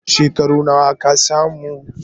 Shekaru nawa ka samu?